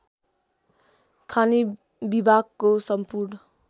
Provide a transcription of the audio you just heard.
खानी विभागको सम्पूर्ण